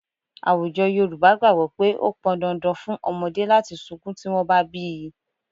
Àwùjọ Yorùbá gbàgbọ́ pé ó pọn dandan fún ọmọdé láti sunkún tí wọ́n bá bí í